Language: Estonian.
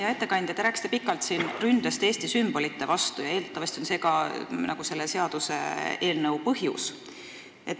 Hea ettekandja, te rääkisite siin pikalt ründest Eesti sümbolite vastu ja eeldatavasti on see ka selle seaduseelnõu põhjus.